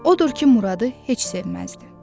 Odur ki, Muradı heç sevməzdi.